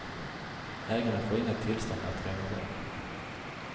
Ägarna får inga tillstånd att renovera.